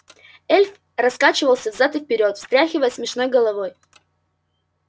эльф раскачивался взад и вперёд встряхивая смешной головой